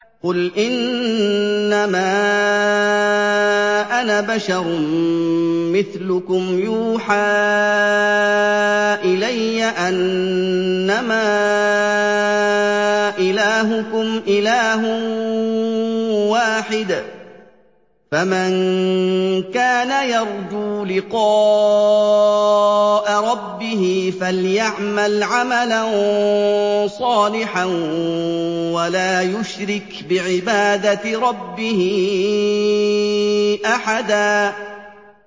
قُلْ إِنَّمَا أَنَا بَشَرٌ مِّثْلُكُمْ يُوحَىٰ إِلَيَّ أَنَّمَا إِلَٰهُكُمْ إِلَٰهٌ وَاحِدٌ ۖ فَمَن كَانَ يَرْجُو لِقَاءَ رَبِّهِ فَلْيَعْمَلْ عَمَلًا صَالِحًا وَلَا يُشْرِكْ بِعِبَادَةِ رَبِّهِ أَحَدًا